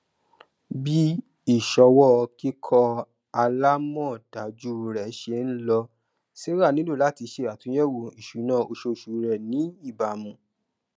bí ìṣòwò kíkọ alamọdájú rẹ ṣe ń lọ sarah nílò láti ṣe àtúnyẹwò isúnà oṣooṣu rẹ ní ìbámu